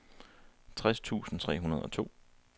tres tusind tre hundrede og to